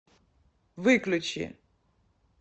выключи